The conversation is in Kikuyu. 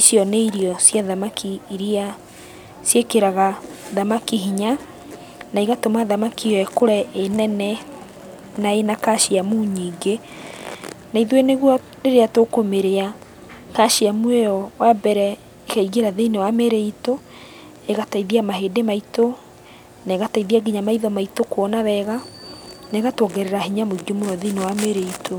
Icio nĩ irio cia thamaki iria ciĩkĩraga thamaki hinya, na igatũma thamaki ĩyo ĩkũre ĩ nene, na ĩna kaciamu nyingĩ, naithuĩ nĩguo rĩrĩa tũkũmĩrĩa kaciamu ĩyo wambere, ĩkaingĩra thĩiniĩ wa mĩrĩ itũ, ĩgateithia mahĩndĩ maitũ, na ĩgateithia kinya maitho maitũ kuona wega, na ĩgatuongerera hinya mũingĩ mũno thĩiniĩ wa mĩrĩ itũ.